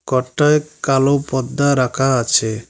ঘরটায় কালো পর্দা রাখা আছে।